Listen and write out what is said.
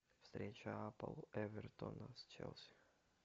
встреча апл эвертона с челси